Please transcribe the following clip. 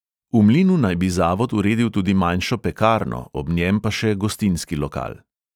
V mlinu naj bi zavod uredil tudi manjšo pekarno, ob njem pa še gostinski lokal.